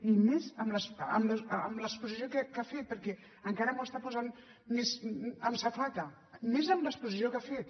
i més amb l’exposició que ha fet perquè encara m’ho està posant més amb safata més amb l’exposició que ha fet